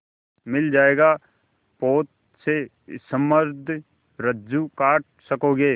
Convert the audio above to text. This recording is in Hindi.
मिल जाएगा पोत से संबद्ध रज्जु काट सकोगे